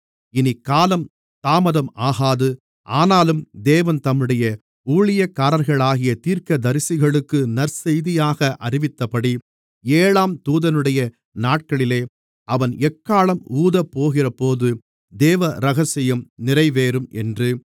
இனி காலம் தாமதம் ஆகாது ஆனாலும் தேவன் தம்முடைய ஊழியக்காரர்களாகிய தீர்க்கதரிசிகளுக்கு நற்செய்தியாக அறிவித்தபடி ஏழாம் தூதனுடைய நாட்களிலே அவன் எக்காளம் ஊதப்போகிறபோது தேவ இரகசியம் நிறைவேறும் என்று